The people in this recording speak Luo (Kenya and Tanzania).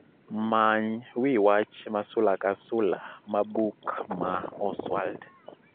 Many wi wach ma sula ka sula ma buk ma Oswald